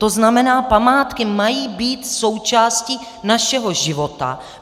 To znamená, památky mají být součástí našeho života.